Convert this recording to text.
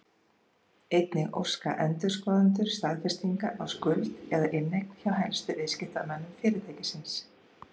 Einnig óska endurskoðendur staðfestinga á skuld eða inneign hjá helstu viðskiptamönnum fyrirtækisins.